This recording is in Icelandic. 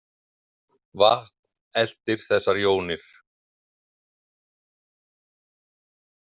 Vatn „eltir“ þessar jónir.